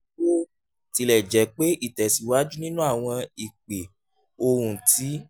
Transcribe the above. bó um tilẹ̀ jẹ́ pé ìtẹ̀síwájú nínú àwọn ìpè ohùn ti